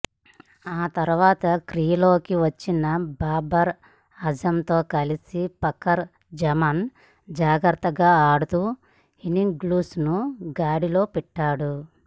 ఆ తర్వాత క్రీజులోకి వచ్చిన బాబర్ ఆజంతో కలిసి ఫకర్ జమాన్ జాగ్రత్తగా ఆడుతూ ఇన్నింగ్స్ను గాడిలో పెట్టాడు